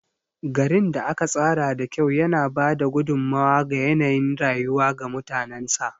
Garin da aka tsara da kyau yana ba da gudummawa ga yanayin rayuwa ga mutanensa.